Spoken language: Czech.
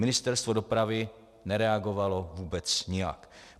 Ministerstvo dopravy nereagovalo vůbec nijak.